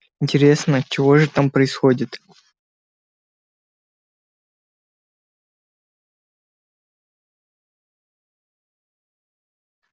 интересно чего же там происходит